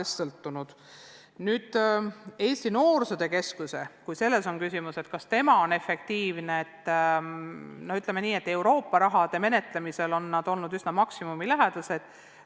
Kui küsimus on selles, kas Eesti Noorsootöö Keskus on töötanud efektiivselt, siis võib öelda, et Euroopa Liidu raha kasutamisel on nad olnud üsna maksimumilähedased.